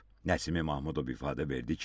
Nəsimi Mahmudov ifadə verdi ki,